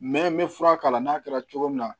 Mɛ n bɛ fura k'a la n'a kɛra cogo min na